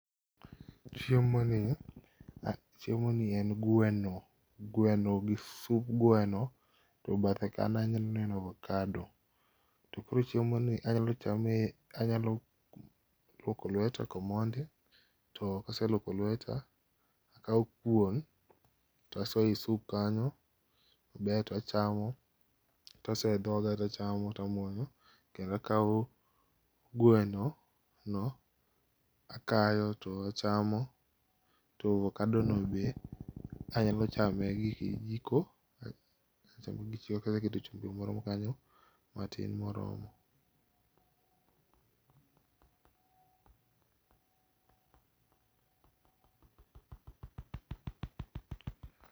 Chiemo ni, chiemo ni en gweno, gweno gi sub gweno to bathe kanyo aneno ovakado. To ko chiemo ni anya chame, anyalo luoko lweta komondi, to kaseluoko lweta takaw kuon tasoyo e sup kanyo, baito achamo, tasoyo e dhoga tachamo, tamuonyo, kendo akaw gweno no akayo tachamo to avokado no be anyalo chame gi kijiko, aketo chumbi moro kanyo matin moromo